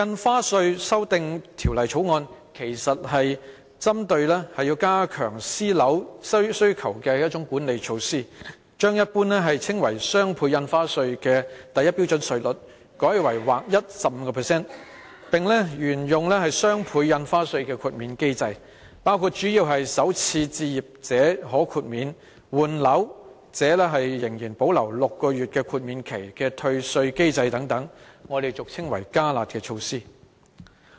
這項《條例草案》其實是加強私人樓宇需求的管理措施，把一般稱為"雙倍印花稅"的第一標準稅率改為劃一 15%， 並沿用雙倍印花稅的豁免機制，主要包括首次置業者可豁免，換樓者仍然保留6個月豁免期的退稅機制等，我們俗稱為"加辣"的措施。